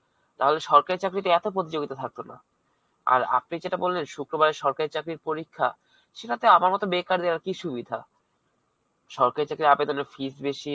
তাহলে সরকারী চাকরীতে এতো প্রতিযোগিতা থাকতো না. আর আপনি যেটা বল্লেন, শুক্রবারে সরকারী চাকরীর পরীক্ষা, সেটাতে বেকারদের আর কি সুবিধা? সরকারী চাকরি র আবেদনে fees বেশী,